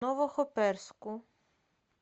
новохоперску